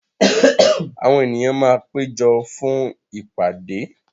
Àwọn ènìyàn máa péjọ fún ìpàdé.